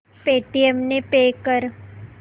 Paytm ने pay कर